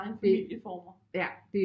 Mange familieformer